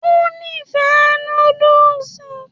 ó nífẹ̀ẹ́ noodles